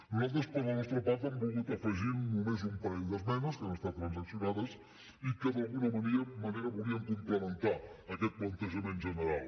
nosaltres per la nostra part hem volgut afegir només un parell d’esmenes que han estat transaccionades i que d’alguna manera volien complementar aquest plantejament general